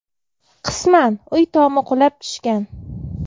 Qisman uy tomi qulab tushgan.